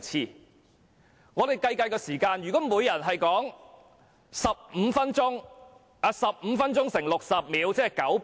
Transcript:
讓我們計一計發言時間，如每名議員可發言15分鐘，把15分鐘乘以60秒，即900秒。